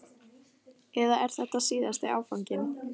Eða er þetta síðasti áfanginn?